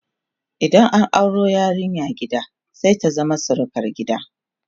idan an auro yarinya gida sai ta zama surukar gidan